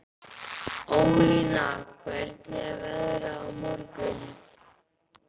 Ólína, hvernig er veðrið á morgun?